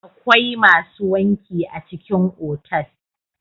akwai masu wanki a cikin otal